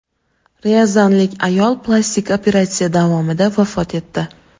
Ryazanlik ayol plastik operatsiya davomida vafot etdi.